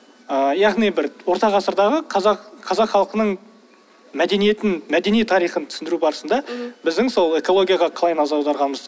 ыыы яғни бір орта ғасырдағы қазақ қазақ халқының мәдениетін мәдени тарихын түсіндіру барысында біздің сол экологияға қалай назар аударғанымыз